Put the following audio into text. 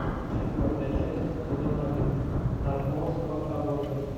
четвертая часть сезона один наркомовского обоза